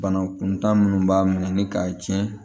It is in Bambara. Bana kuntaa minnu b'a ɲini k'a tiɲɛ